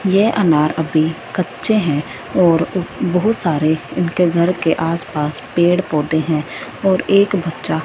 ये अनार अभी कच्चे हैं और उ बहुत सारे उनके घर के आसपास पेड़ पौधे हैं और एक बच्चा--